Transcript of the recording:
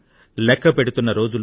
లెక్కపెడుతున్న రోజులు